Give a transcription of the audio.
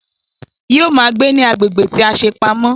Yóò ma gbé ní agbègbè tí a ṣe pamọ́